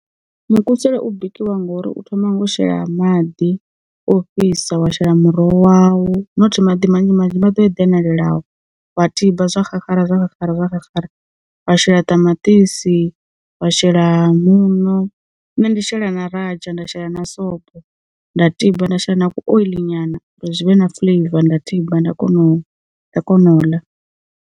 Mukusule u bikiwa ngori u thoma ngo shela maḓi o fhisa wa shela muroho wau not maḓi manzhi manzhi maḓi o eḓelelenaho, wa tiba zwa xaxara wa shela ṱamaṱisi, wa shela muṋo nne ndi shela na radzha nda shela na sobo nda tiba, nda shela na ku oyiḽi nyana uri zwi vhe na fuḽeiva nda tiba nda kona u, nda kona u ḽa.